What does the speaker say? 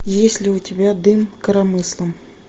есть ли у тебя дым коромыслом